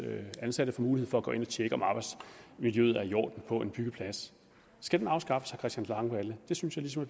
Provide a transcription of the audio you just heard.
ansatte mulighed for at gå ind og tjekke om arbejdsmiljøet er i orden på en byggeplads skal den afskaffes christian langballe det synes jeg ligesom